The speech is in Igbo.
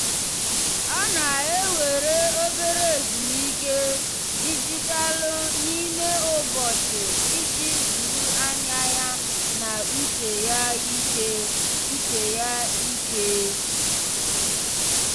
ọ na-ewere obere ezumike dijitalụ n'ime ụbọchị iji zuru anya ya na uche ya ike. uche ya ike.